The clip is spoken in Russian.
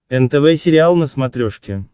нтв сериал на смотрешке